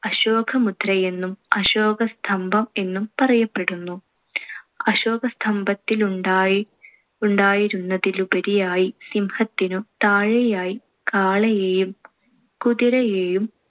അശോകമുദ്രയെന്നും, അശോകസ്തംഭം എന്നുംപറയപ്പെടുന്നു. അശോകസ്തംഭത്തിലുണ്ടായി~ ഉണ്ടായിരുന്നതിലുപരിയായി സിംഹത്തിനു താഴെയായി കാളയേയും കുതിരയേയും